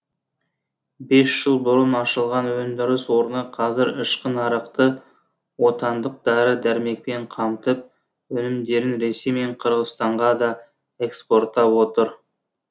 бес жыл бұрын ашылған өндіріс орны қазір ішкі нарықты отандық дәрі дәрмекпен қамтып өнімдерін ресей мен қырғызстанға да экспорттап отыр